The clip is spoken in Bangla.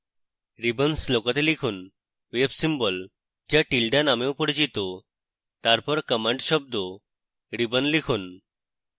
ribbons লুকোতে লিখুন wave symbol to tilda নামেও পরিচিত তারপর command শব্দ ribbon লিখুন